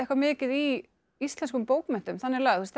mikið í íslenskum bókmenntum þannig lagað þessi